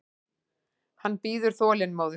Hann bíður þolinmóður.